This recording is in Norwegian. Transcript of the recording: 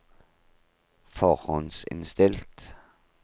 forhåndsinnstilt